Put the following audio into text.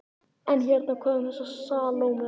En hérna- hvað um þessa Salóme?